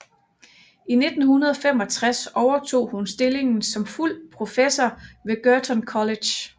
I 1965 overtog hun stillingen som fuld professor ved Girton College